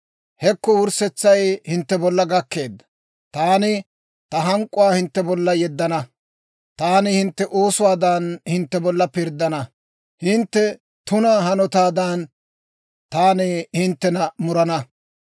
Hekko, wurssetsay hintte bolla gakkeedda! Taani ta hank'k'uwaa hintte bolla yeddana. Taani hintte oosuwaadan, hintte bolla pirddana; hintte tuna hanotaadan, taani hinttena murana.